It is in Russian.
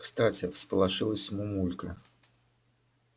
кстати всполошилась мамулька